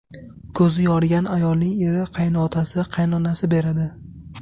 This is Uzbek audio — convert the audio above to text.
Ko‘zi yorigan ayolning eri, qaynotasi, qaynonasi beradi.